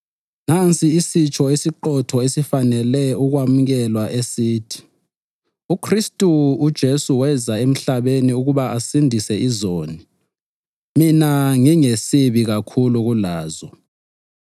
Nansi isitsho esiqotho esifanele ukwamukelwa esithi: UKhristu uJesu weza emhlabeni ukuba asindise izoni, mina ngingesibi kakhulu kulazo.